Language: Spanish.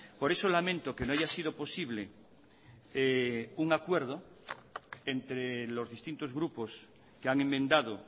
por eso lamento que no haya sido posible un acuerdo entre los distintos grupos que han enmendado